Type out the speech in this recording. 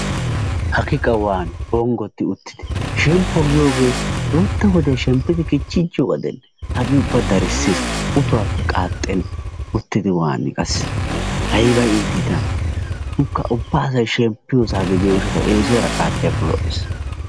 Hagee qa waani bonghioti uttidi shemppo giyogee shemppidi kichchichiyoga gidenne hagee ubba darssees utohuwappe qaaxxenna uttidi waani qassi ayba iitti tana ikka ubba asay shemppiyosa gidiyo gishshatawu eesuwaara qaaxiyakko lo'ees.